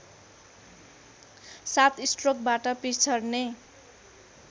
सात स्ट्रोकबाट पिछड्ने